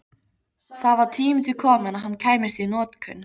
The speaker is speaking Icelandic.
Það var tími til kominn að hann kæmist í notkun!